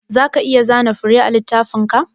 Zaka iya zana fure a littafinka?